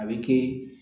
A bɛ kɛ